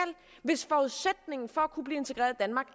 hvis forudsætningen for